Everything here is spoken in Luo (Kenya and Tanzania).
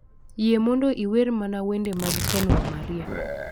Yie mondo iwer mana wende mag ken wa maria